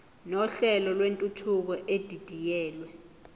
nohlelo lwentuthuko edidiyelwe